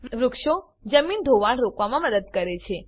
વૃક્ષો જમીન ધોવાણ રોકવામાં મદદ કરે છે